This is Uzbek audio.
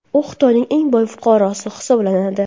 U Xitoyning eng boy fuqarosi hisoblanadi.